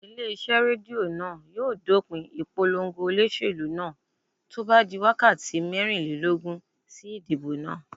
Ilé iṣẹ́ Rédíò náà yóò dópin ìpolongo olóṣèlú náà tó bá di wákàtí mẹ́rìnlélógún sí idibo náà.